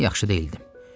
Mən yaxşı deyildim.